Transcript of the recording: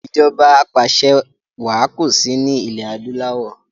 Ìjọba apàṣẹwà kosi ni ilẹ̀ adúláwọ̀